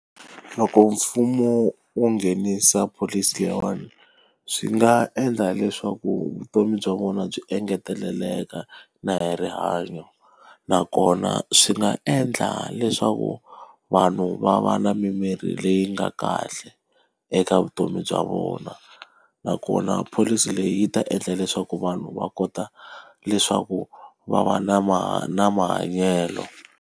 Loko mfumo wo nghenisa pholisi leyiwani, swi nga endla leswaku vutomi bya vona byi engeteleleka na hi rihanyo. Nakona swi nga endla leswaku vanhu va va na mimiri leyi nga kahle eka vutomi bya vona. Nakona pholisi leyi yi ta endla leswaku vanhu va kota leswaku va va na na mahanyelo.